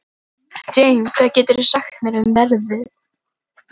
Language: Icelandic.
Jane, hvað geturðu sagt mér um veðrið?